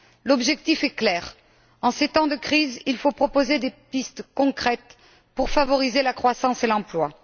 L'objectif est clair en ces temps de crise, il faut proposer des pistes concrètes pour favoriser la croissance et l'emploi.